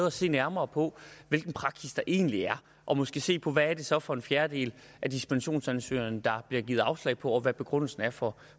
at se nærmere på hvilken praksis der egentlig er og måske se på hvad det så er for en fjerdedel af dispensationsansøgningerne der bliver givet afslag på og hvad begrundelsen er for